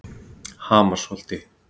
Hamarsholti